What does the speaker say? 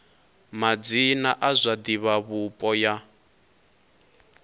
madzina a zwa divhavhupo ya